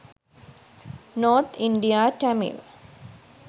north india tamil